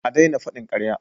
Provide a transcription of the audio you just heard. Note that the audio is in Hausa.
A daina faɗin ƙarya!